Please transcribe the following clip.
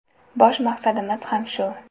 Bosh maqsadimiz ham shu.